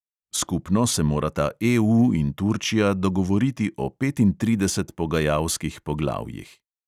Skupno se morata EU in turčija dogovoriti o petintridesetih pogajalskih poglavjih.